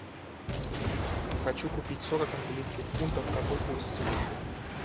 хочу купить сорок английских фунтов какой курс сегодня